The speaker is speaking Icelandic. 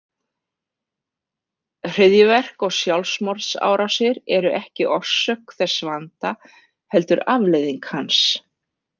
Hryðjuverk og sjálfsmorðsárásir eru ekki orsök þess vanda heldur afleiðing hans.